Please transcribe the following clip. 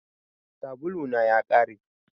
Sabulu na ya ƙare